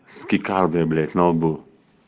с кикардой блять на лбу